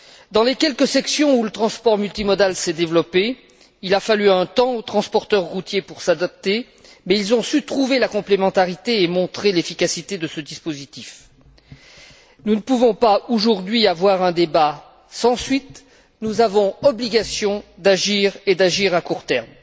Dans les quelques sections où le transport multimodal s'est développé, il a fallu un temps aux transporteurs routiers pour s'adapter, mais ils ont su trouver la complémentarité et montrer l'efficacité de ce dispositif. Nous ne pouvons pas, aujourd'hui, avoir un débat sans suite, nous avons obligation d'agir, et d'agir à court terme.